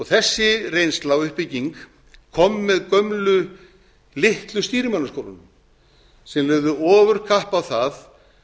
þessi reynsla og uppbygging kom með gömlu litlu stýrimannaskólunum sem lögðu ofurkapp á það